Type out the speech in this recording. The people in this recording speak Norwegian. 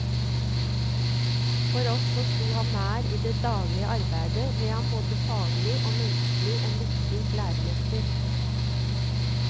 For oss som sto ham nær i det daglige arbeidet, ble han både faglig og menneskelig en viktig læremester.